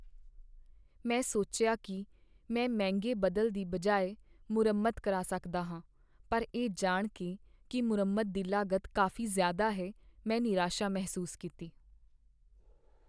ਮੈਂ ਸੋਚਿਆ ਕਿ ਮੈਂ ਮਹਿੰਗੇ ਬਦਲ ਦੀ ਬਜਾਏ ਮੁਰੰਮਤ ਕਰਾ ਸਕਦਾ ਹਾਂ, ਪਰ ਇਹ ਜਾਣ ਕੇ ਕਿ ਮੁਰੰਮਤ ਦੀ ਲਾਗਤ ਕਾਫ਼ੀ ਜ਼ਿਆਦਾ ਹੈ, ਮੈਂ ਨਿਰਾਸ਼ਾ ਮਹਿਸੂਸ ਕੀਤੀ।